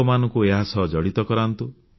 ଲୋକମାନଙ୍କୁ ଏହା ସହ ଜଡ଼ିତ କରାନ୍ତୁ